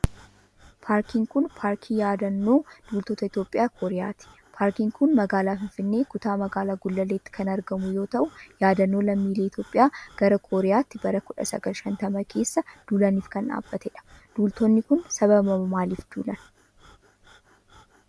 Paarkiin kun, paarkii yaadannoo duultota Itoophiyaa Kooriyaati. Paarkiin kun, magaalaa finfinnee kutaa magaalaa gullalleetti kan argamu yoo ta'u, yadannoo lammiilee Itoophiyaa gara Kooriyaatti bara 1950 keessa duulaniif kan dhaabatee dha. Duultonni kun, sababa maaliif duulan?